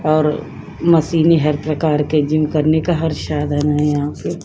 और मशीने हर प्रकार के जिम करने का हर शाधन है यहाँ पे।